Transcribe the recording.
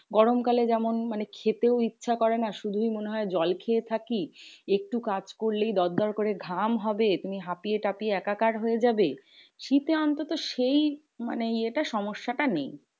গরম কালে যেমন মানে খেতেও ইচ্ছে করে না শুধুই মনে হয় জল খেয়ে থাকি। একটু কাজ করলেই দর দর করে ঘাম হবে। তুমি হাফিয়ে টাফিয়ে একাকার হয়ে যাবে শীতে অন্তত সেই মানে এটা সমস্যাটা নেই।